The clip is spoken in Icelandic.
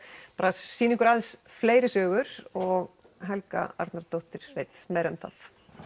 sýna ykkur aðeins fleiri sögur og Helga Arnardóttir veit meira um það